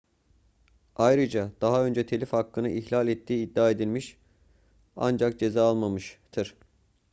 ayrıca daha önce telif hakkını ihlal ettiği iddia edilmiş ancak ceza almamıştır